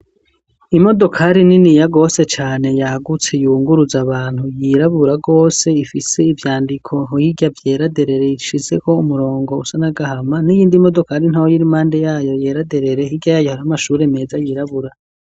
imodokari, niniya gose cane, yagutse, yunguruza abantu, yirabura rwose, ifise ivyandiko hirya, vyera derere, ishizeko umurongo, usa n’agahama; n'iyindi imodori ntaya, iri impande yayo, yera derere; hirya yayo, hari amashure meza yirabura.